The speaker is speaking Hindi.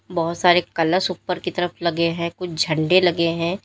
बहुत सारे कलश उपर की तरफ लगे हैं कुछ झंडे लगे हैं।